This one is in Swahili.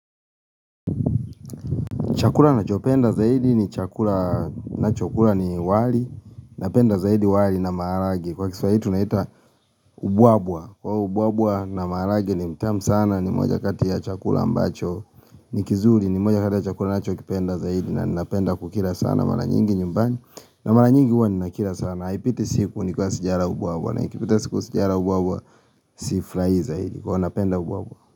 Chakula nachopenda zaidi ni chakula ninachokula ni wali napenda zaidi wali na maharagwe. Kwa kiswahili tunaita ubwabwa. Ubwabwa na maharagwe ni mtamu sana ni moja kati ya chakula ambacho. Ni kizuri ni moja kati ya chakula ninachokipenda zaidi na napenda kukila sana mara nyingi nyumbani. Na mara nyingi huwa ninakila sana. Na ipiti siku nikiwa sijala ubwabwa na ikipita siku sijala ubwabwa sifrahii zaidi huwa napenda ubwabwa.